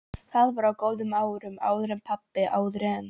Það var á góðu árunum- áður en pabbi- áður en.